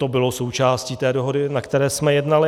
To bylo součástí té dohody, o které jsme jednali.